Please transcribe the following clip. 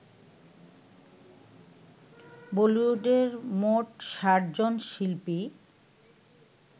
বলিউডের মোট ষাটজন শিল্পী